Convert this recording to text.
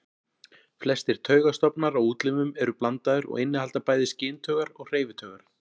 Flestir taugastofnar á útlimum eru blandaðir og innihalda bæði skyntaugar og hreyfitaugar.